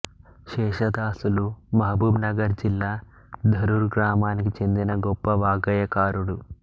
శేషదాసులు Mahabubnagar జిల్లా ధరూర్ గ్రామానికి చెందిన గొప్ప వాగ్గేయకారుడు